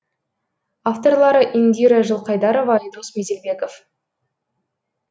авторлары индира жылқайдарова айдос меделбеков